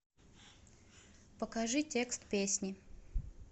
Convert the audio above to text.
покажи текст песни